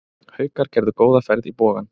Haukar gerðu góða ferð í Bogann